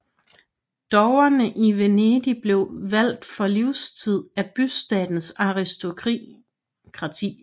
Dogerne i Venedig blev valgt for livstid af bystatens aristokrati